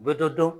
U bɛ dɔ dɔn